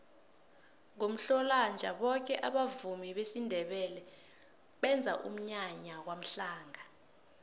ngomhlolanja boke abavumi besindebele benza umnyanya kwamhlanga